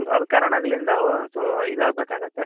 ಆದಕಾರಣಗಳಿಂದ so ಇದಾಗ್ಬೇಕಾಗುತ್ತೆ.